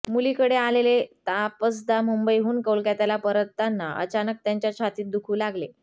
मुलीकडे आलेले तापसदा मुंबईहून कोलकात्याला परतताना अचानक त्यांच्या छातीत दुखू लागले